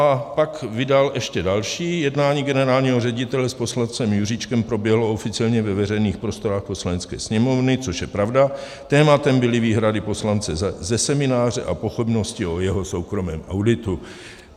A pak vydal ještě další - jednání generálního ředitele s poslancem Juříčkem proběhlo oficiálně ve veřejných prostorách Poslanecké sněmovny, což je pravda, tématem byly výhrady poslance ze semináře a pochybnosti o jeho soukromém auditu.